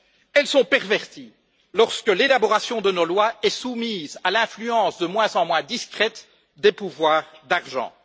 Elles sont perverties lorsque l'élaboration de nos lois est soumise à l'influence de moins en moins discrète des pouvoirs d'argent.